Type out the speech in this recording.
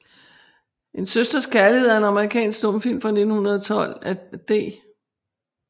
En Søsters Kærlighed er en amerikansk stumfilm fra 1912 af D